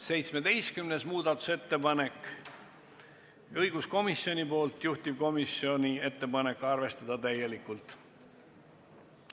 17. muudatusettepanek on õiguskomisjonilt, juhtivkomisjoni ettepanek on arvestada seda täielikult.